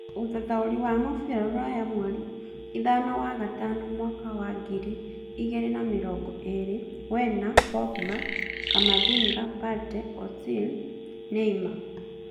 Ũthathaũri wa mũbira rũraya mweri ithano wa-gatano mwaka wa ngiri igĩrĩ na mĩrongo ĩĩrĩ; Werner, Pogba, Camavinga, Partey, Ozil, Neymar